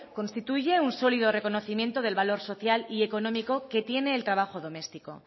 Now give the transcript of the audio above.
constituye un sólido reconocimiento del valor social y económico que tiene el trabajo doméstico